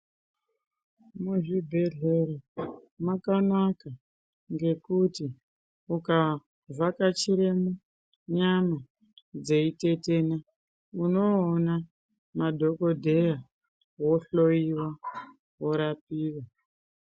Muzvibhedhleya makanaka ngekuti ukavhakachira nyama dzeitetena unoona madhokodheya wohloyiwa worapiwa.